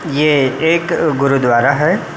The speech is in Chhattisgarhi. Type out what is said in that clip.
ये एक गुरुद्वारा हैं।